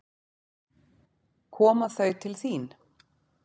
Koma þau til þín?